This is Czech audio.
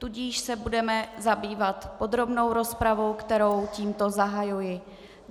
Tudíž se budeme zabývat podrobnou rozpravou, kterou tímto zahajuji.